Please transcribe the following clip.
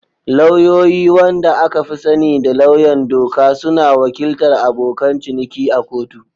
Lauyoyi, wanda aka fi sani da lauyan doka, suna wakiltar abokan ciniki a kotu.